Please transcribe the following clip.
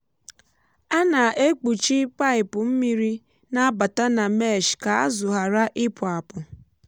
a na-ekpuchi paịpụ mmiri na-abata na mesh ka azụ ghara ịpụ apụ.